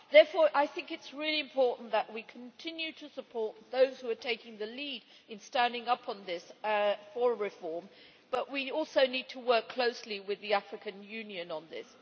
Therefore, I think it is really important that we continue to support those who are taking the lead in standing up for reform, but we also need to work closely with the African Union on this.